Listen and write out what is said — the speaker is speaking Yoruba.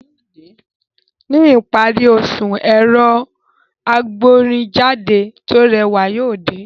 Ní ìparí oṣù, ẹ̀rọ agbórinjáde tó rẹwà yóò dé